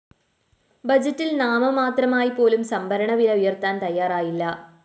ബജറ്റില്‍ നാമമാത്രമായി പോലും സംഭരണ വില ഉയര്‍ത്താന്‍ തയാറായില്ല